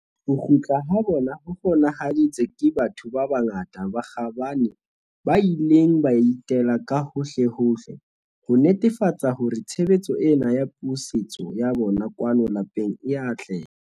Ho kgutla ha bona ho kgona-haditswe ke batho ba bangata ba kgabane ba ileng ba itela ka hohlehohle, ho netefatsa hore tshebetso ena ya pusetso ya bona kwano lapeng e a atleha.